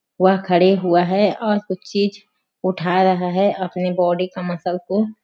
वहाँ खड़े हुआ है और कुछ चीज उठा रहा है अपने बॉडी का मसल को--